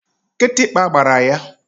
Kịtịkpa gbara ya.